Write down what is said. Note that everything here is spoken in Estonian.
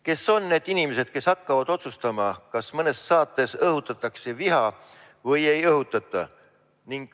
Kes on need inimesed, kes hakkavad otsustama, kas mõnes saates õhutatakse viha või ei õhutata?